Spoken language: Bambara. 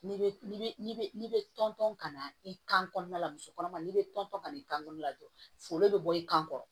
N'i bɛ n'i bɛ tɔntɔn ka na i kan kɔnɔna la muso kɔnɔma n'i bɛ tɔn ka na i kan olu ladon foro bɛ bɔ i kan